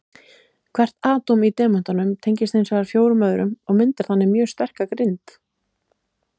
Hvert atóm í demöntum tengist hins vegar fjórum öðrum og myndar þannig mjög sterka grind.